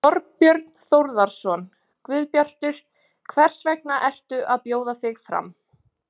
Þorbjörn Þórðarson: Guðbjartur, hvers vegna ertu að bjóða þig fram?